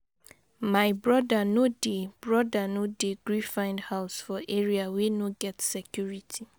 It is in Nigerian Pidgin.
My broda no dey broda no dey gree find house for area wey no get security.